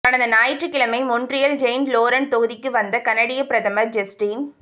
கடந்த ஞாயிற்று கிழமை மொன்றியல் செயின்ட் லோரன்ட் தொகுதிக்கு வந்த கனடிய பிரதமர் ஜஸ்டின்